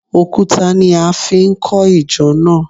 Òkúta ni a fi kọ ìjọ náà